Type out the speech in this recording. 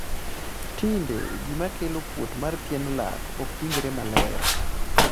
tinde gima kelo kuot mar pien lak okwinjre maler